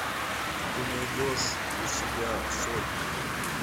ты найдешь у себя сотня